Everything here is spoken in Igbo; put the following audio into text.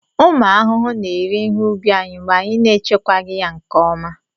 Ụmụ arụrụ na-eri ihe ubi anyị mgbe anyị na-echekwaghị ya nke ọma